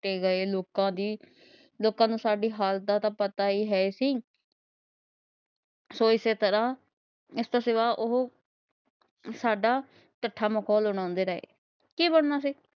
ਲੁਟੇ ਗਏ ਲੋਕਾਂ ਦੀ ਲੋਕਾਂ ਨੂੰ ਸਾਡੀ ਹਾਲਤ ਦਾ ਤਾ ਪਤਾ ਹੀ ਹੈ ਸੀ। ਸੋ ਇਸੇ ਤਰਾਂ ਇਸਤੋਂ ਸਿਵਾ ਉਹ ਸਾਡਾ ਕੱਠਾ ਮਖੌਲ ਉਡਾਂਦੇ ਰਹੇ ਕੀ ਬਣਨਾ ਸੀ।